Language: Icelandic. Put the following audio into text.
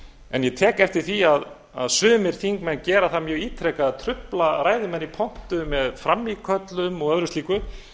en ég tek eftir því að sumir þingmenn gera það mjög ítrekað að trufla ræðumenn í pontu með frammíköllum og öðru slíku